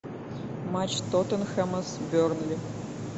матч тоттенхэма с бернли